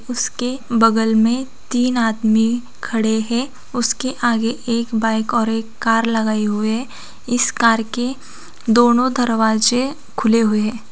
उसके बगल में तीन आदमी खड़े है उसके आगे एक बाइक और एक कार लगाए हुए है इस कार के दोनों दरवाजे खुले हुए है।